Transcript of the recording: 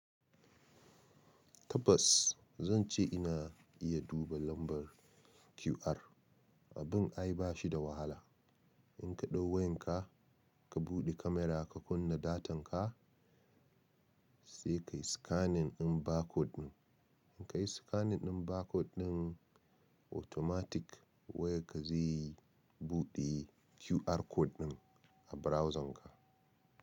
Tabbas zan ce ina iya duba lambar QR. Abin ai bashi da wahala. In ka ɗau wayan ka, ka buɗe camera ka kunna datan ka sai ka yi scanning ɗin barcode ɗin. In ka yi scanning ɗin barcode ɗin automatic wayan ka zai yi buɗe QR code ɗin a browsern ka.